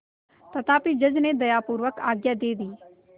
तथापि जज ने दयापूर्वक आज्ञा दे दी